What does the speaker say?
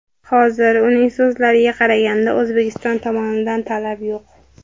Hozir, uning so‘zlariga qaraganda, O‘zbekiston tomonidan talab yo‘q.